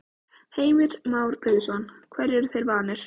Heimir Már Pétursson: Hverju eru þeir vanir?